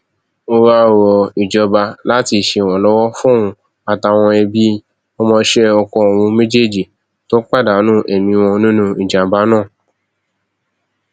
ó wáá rọ ìjọba láti ṣèrànlọwọ fóun àtàwọn ẹbí ọmọọṣẹ ọkọ òun méjèèjì tó pàdánù ẹmí wọn nínú ìjàmbá náà